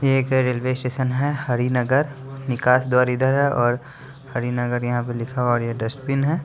ये एक railway station है हरिनगर निकास द्वार इधर है और हरिनगर यहां पे लिखा हुआ और ये डस्टबिन है.